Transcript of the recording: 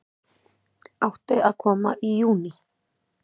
Átti að koma í júní